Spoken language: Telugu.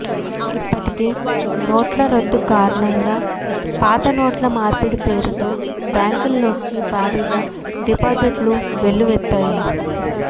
ఇప్పటికే నోట్ల రద్దు కారణంగా పాతనోట్ల మార్పిడి పేరుతో బ్యాంకు ల్లోకి భారీగా డిపాజిట్లు వెల్లువెత్తాయి